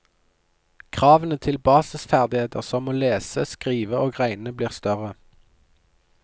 Kravene til basisferdigheter som å lese, skrive og regne, blir større.